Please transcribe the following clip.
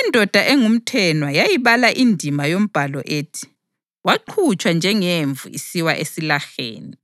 Indoda engumthenwa yayibala indima yombhalo ethi: “Waqhutshwa njengemvu isiwa esilaheni,